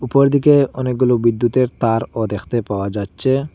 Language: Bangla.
উপর দিকে অনেকগুলো বিদ্যুতের তারও দেখতে পাওয়া যাচ্চে।